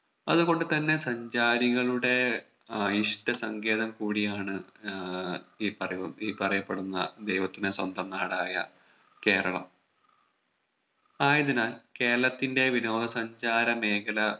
അതുകൊണ്ട് തന്നെ സഞ്ചാരികളുടെ ഏർ ഇഷ്ട്ട സങ്കേതം കൂടിയാണ് ഏർ ഈ പറയു പറയപ്പെടുന്ന ദൈവത്തിന്റെ സ്വന്തം നാടായ കേരളം ആയതിനാൽ കേരളത്തിന്റെ വിനോദ സഞ്ചാര മേഖല